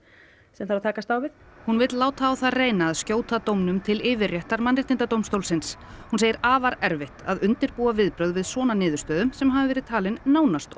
sem þarf að takast á við hún vill láta á það reyna að skjóta dómnum til yfirréttar Mannréttindadómstólsins hún segir afar erfitt að undirbúa viðbrögð við svona niðurstöðu sem hafi verið talin nánast